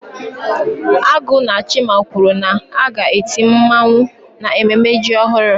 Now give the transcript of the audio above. Agu na chima kwuru na a ga-eti mmawụ n'ememme ji ọhụrụ.